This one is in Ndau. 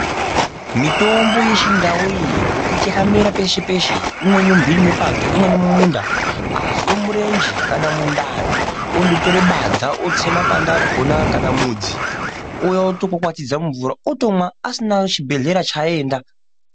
Mitombo yechindau iyi ngokuti yakamera peshe-peshe imweni mumhiri mepato imweni mumunda. Azwe murenje kana mundani ondotore badza otse makwati akona kana mudzi ouya otokwakwatidza mumvura otomwa asina chibhebhedhlera chaaenda.